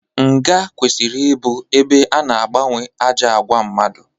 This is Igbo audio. Nga kwesịrị ịbụ ebe ana agbanwe ajọ àgwà mmadụ.